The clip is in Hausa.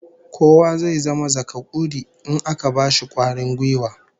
Kowa zai zama zakakuri in aka bashi kwarin gwiwa